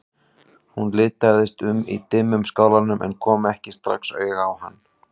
Hún litaðist um í dimmum skálanum en kom ekki strax auga á hann.